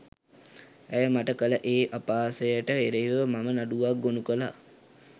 ඇය මට කළ ඒ අපහාසයට එරෙහිව මම නඩුවක් ගොනු කළා